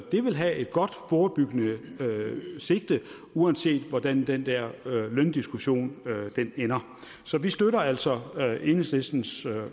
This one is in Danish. det vil have et godt forebyggende sigte uanset hvordan den der løndiskussion ender så vi støtter altså enhedslistens